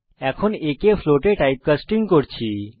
এখানে আমরা a কে ফ্লোটে টাইপকাস্টিং করছি